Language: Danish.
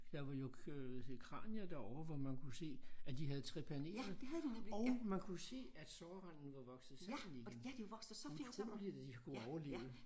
Der var jo øh kranier derovre hvor man kunne se at de havde trepaneret og man kunne se at sårranden var vokset sammen igen. Utroligt at de har kunnet overleve